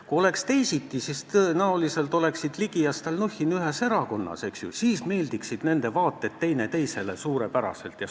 Kui oleks teisiti, siis oleksid Ligi ja Stalnuhhin tõenäoliselt ühes erakonnas ning siis sobiksid nende vaated teineteisele suurepäraselt.